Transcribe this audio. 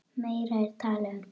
Meira er talað um þau.